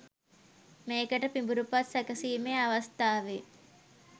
මේකට පිඹුරුපත් සැකසීමේ අවස්ථාවේ